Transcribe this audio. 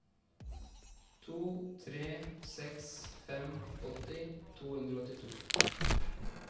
to tre seks fem åtti to hundre og åttito